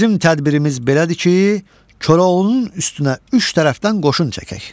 Bizim tədbirimiz belədir ki, Koroğlunun üstünə üç tərəfdən qoşun çəkək.